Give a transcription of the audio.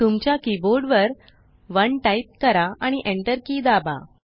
तुमच्या कीबोर्ड वर 1 टाइप करा आणि enter की दाबा